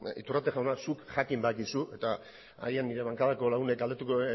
iturrate jauna zuk jakin badakizu eta agian nire bankako lagunek